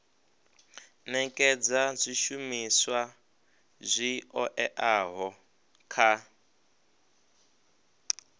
nekedza zwishumiswa zwi oeaho kha